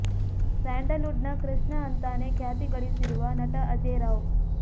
sandal wood ನ ಕೃಷ್ಣ ಅಂತಾನೆ ಖ್ಯಾತಿಗಳಿಸಿರುವ ನಟ ಅಜೇಯ್ ರಾವ್